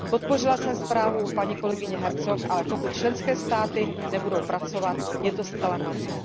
Podpořila jsem zprávu paní kolegyně Herczog, ale pokud členské státy nebudou pracovat, je to zcela marné.